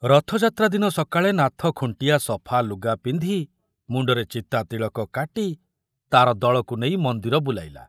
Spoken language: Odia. ରଥଯାତ୍ରା ଦିନ ସକାଳେ ନାଥ ଖୁଣ୍ଟିଆ ସଫା ଲୁଗା ପିନ୍ଧି ମୁଣ୍ଡରେ ଚିତା ତିଳକ କାଟି ତାର ଦଳକୁ ନେଇ ମନ୍ଦିର ବୁଲାଇଲା।